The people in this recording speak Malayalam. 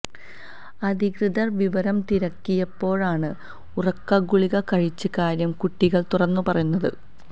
അധികൃതര് വിവരം തിരക്കിയപ്പോഴാണ് ഉറക്കഗുളിക കഴിച്ച കാര്യം കുട്ടികള് തുറന്നു പറയുന്നത്